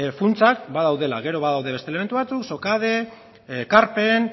funtsak badaudela gero badaude beste elementu batzuk sokade ekarpen